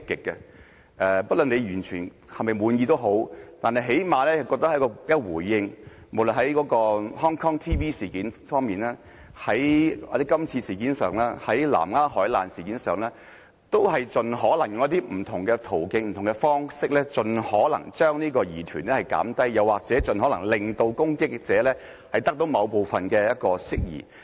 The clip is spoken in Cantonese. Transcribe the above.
不論大家是否完全滿意，但最少政府也有回應，無論在香港電視網絡事件上、今次的事件上、南丫海難事件上，都以不同的途徑和方式，盡可能把疑團縮小，又或盡可能令攻擊者部分釋疑。